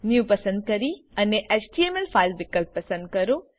new પસંદ કરી અને એચટીએમએલ ફાઈલ વિકલ્પ પસંદ કરો